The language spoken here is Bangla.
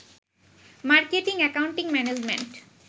marketing, accounting, management